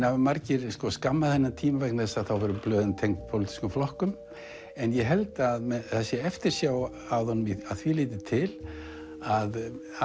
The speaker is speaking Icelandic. hafa margir skammað þennan tíma vegna þess að þá voru blöðin tengd pólitískum flokkum en ég held að það sé eftirsjá að honum að því leyti til að